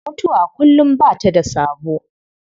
Mutuwa kullum ba ta da sabo.